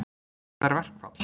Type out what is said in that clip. Hvað er verkfall?